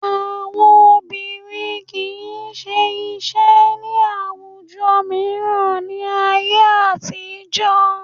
Àwọn obìnrin kì í ṣe iṣẹ́ ní àwùjọ mìíràn ní ayé àtijọ́